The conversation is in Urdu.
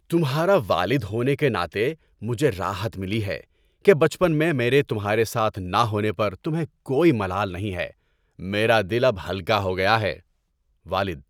تمہارا والد ہونے کے ناطے، مجھے راحت ملی ہے کہ بچپن میں میرے تمہارے ساتھ نہ ہونے پر تمہیں کوئی ملال نہیں ہے۔ میرا دل اب ہلکا ہو گیا ہے۔ (والد)